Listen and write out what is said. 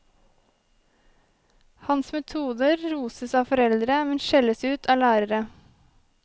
Hans metoder roses av foreldre, men skjelles ut av lærere.